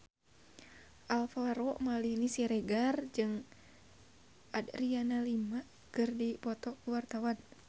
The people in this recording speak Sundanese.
Alvaro Maldini Siregar jeung Adriana Lima keur dipoto ku wartawan